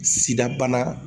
Sida bana